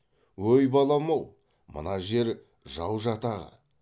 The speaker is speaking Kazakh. өй балам ау мына жер жау жатағы